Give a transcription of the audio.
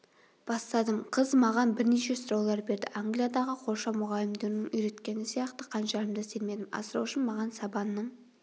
бастадым қыз маған бірнеше сұраулар берді англиядағы қоршау мұғалімдерінің үйреткені сияқты қанжарымды сермедім асыраушым маған сабанның